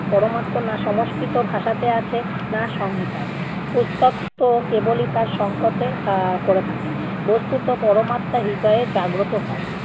পরমাত্ম না সংস্কৃত ভাষাতে আছে না সংহিতায়। পুস্তক তো কেবলই তার সংকটে আহ করে থাকে। বস্তুত পরমাত্মা হৃদয়ে জাগ্রত হয়।